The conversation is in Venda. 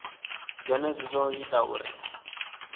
zwenezwo zwo ḓo ita uri